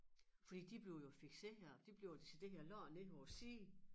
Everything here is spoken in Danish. Fordi de blev jo fikserede de blev jo decideret lagt ned på æ side